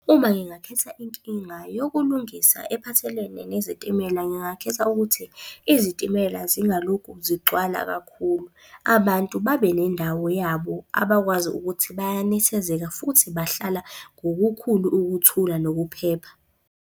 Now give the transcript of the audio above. Uma ngingakhetha inkinga yokulungisa ephathelene nezitimela. Ngingakhetha ukuthi izitimela zingalokhu zigcwala kakhulu. Abantu babe nendawo yabo abakwazi ukuthi bayanethezeka futhi bahlala ngokukhulu ukuthula nokuphepha.